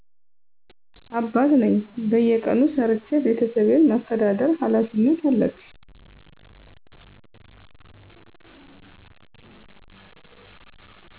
አባት ነኝ በየቀኑ ሠርቸ ቤተሠቤን ማሰተዳደር ሀላፊነት አለብኝ።